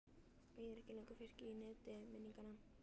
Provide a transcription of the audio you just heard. Og ég er ekki lengur fiskur í neti minninganna.